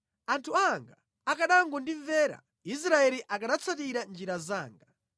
“Anthu anga akanangondimvera, Israeli akanatsatira njira zanga,